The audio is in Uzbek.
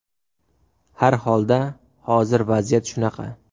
Har holda, hozir vaziyat shunaqa.